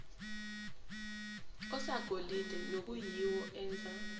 osagolide nokuyiwo enza